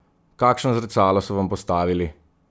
Kakšno zrcalo so vam postavili?